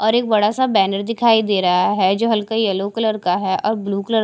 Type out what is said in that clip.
और एक बड़ा सा बैनर दिखाई दे रहा है जो हल्के येलो कलर का है और ब्लू कलर --